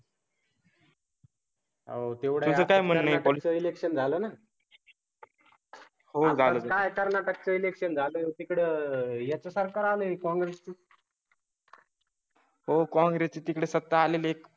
हो तेवढं काय? म्हणजे पॉलिसी सिलेक्शन. झालं ना? हो चालेल नाही तर नात्यात कलेक्शन झालं. तिकडे आह याचं सरकार आणि कॉंग्रेस. हो कॉंग्रेस ची तिकडे सत्ता आलेली